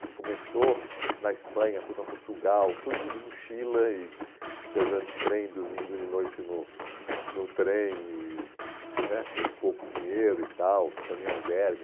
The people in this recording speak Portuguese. Que começou na Espanha, foi para Portugal, tudo de mochila e viajando de trem, dormindo de noite no no trem, e né com pouco dinheiro e tal, ficando em albergue.